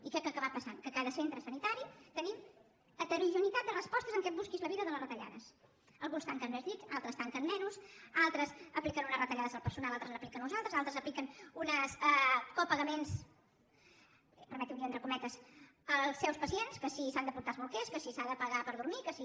i què ha acabat passant que a cada centre sanitari tenim heterogeneïtat de respostes amb aquest busqui’s la vida de les retallades alguns tanquen més llits altres en tanquen menys altres apliquen unes retallades al personal altres n’apliquen unes altres altres apliquen uns copagaments permetin ho dir entre cometes als seus pacients que si s’han de portar els bolquers que si s’ha de pagar per dormir que si